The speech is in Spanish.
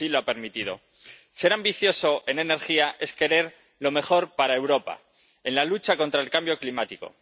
Ser ambicioso en energía es querer lo mejor para Europa en la lucha contra el cambio climático.